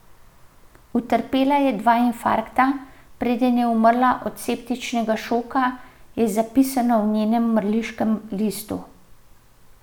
Utrpela je dva infarkta, preden je umrla od septičnega šoka, je zapisano v njenem mrliškem listu.